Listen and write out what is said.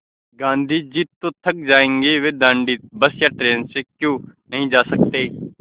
गाँधी जी तो थक जायेंगे वे दाँडी बस या ट्रेन से क्यों नहीं जा सकते